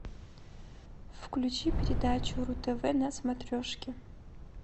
включи передачу ру тв на смотрешке